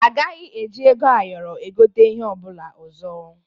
A gaghị eji ego ayọrọ egote ihe ọ bụla ọzọ.